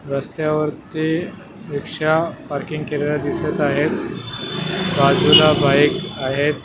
रस्त्यावर ते rickshaw parking केलेल्या दिसत आहेत बाजूला बाईक आहेत.